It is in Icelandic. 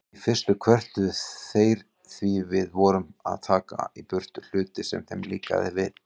Í fyrstu kvörtuðu þeir því við vorum að taka í burtu hluti sem þeim líkaði.